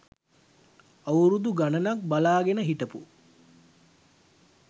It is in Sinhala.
අවුරුදු ගණනක් බලා ගෙන හිටපු